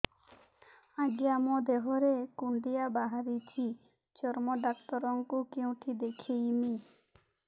ଆଜ୍ଞା ମୋ ଦେହ ରେ କୁଣ୍ଡିଆ ବାହାରିଛି ଚର୍ମ ଡାକ୍ତର ଙ୍କୁ କେଉଁଠି ଦେଖେଇମି